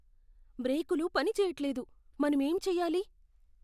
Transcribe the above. బ్రేకులు పని చెయ్యట్లేదు. మనమేం చెయ్యాలి?